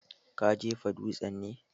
Ka jefa dutsen ne?